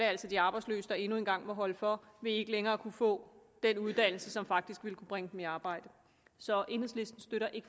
altså de arbejdsløse der endnu en gang må holde for ved ikke længere at kunne få den uddannelse som faktisk ville kunne bringe dem i arbejde så enhedslisten støtter ikke